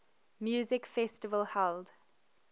music festival held